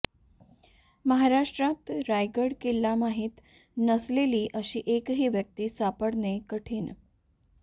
महाराष्ट्रात रायगड किल्ला माहीत नसलेली अशी एकही व्यक्ती सापडणे कठीण